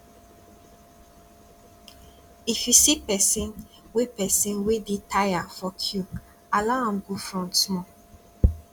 if you see pesin wey pesin wey dey tire for queue allow am go front small